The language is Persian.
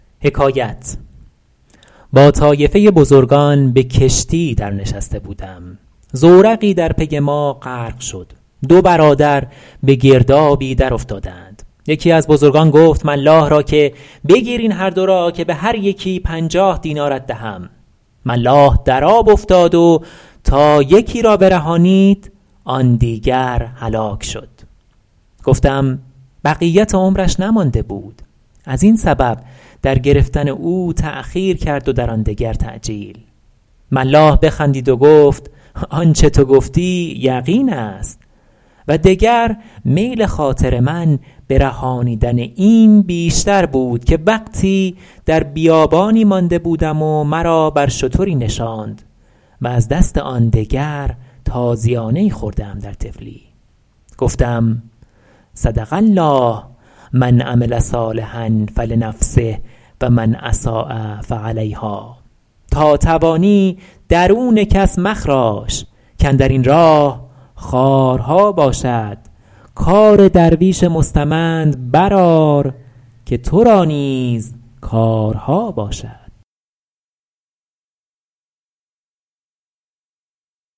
با طایفه بزرگان به کشتی در نشسته بودم زورقی در پی ما غرق شد دو برادر به گردابی در افتادند یکی از بزرگان گفت ملاح را که بگیر این هر دو را که به هر یکی پنجاه دینارت دهم ملاح در آب افتاد و تا یکی را برهانید آن دیگر هلاک شد گفتم بقیت عمرش نمانده بود از این سبب در گرفتن او تأخیر کرد و در آن دگر تعجیل ملاح بخندید و گفت آنچه تو گفتی یقین است و دگر میل خاطر من به رهانیدن این بیشتر بود که وقتی در بیابانی مانده بودم و مرا بر شتری نشاند و از دست آن دگر تازیانه ای خورده ام در طفلی گفتم صدق الله من عمل صالحا فلنفسه و من أساء فعلیهٰا تا توانی درون کس مخراش کاندر این راه خارها باشد کار درویش مستمند بر آر که تو را نیز کارها باشد